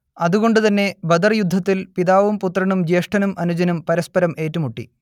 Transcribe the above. അത് കൊണ്ട് തന്നെ ബദർ യുദ്ധത്തിൽ പിതാവും പുത്രനും ജ്യേഷ്ഠനും അനുജനും പരസ്പരം ഏറ്റുമുട്ടി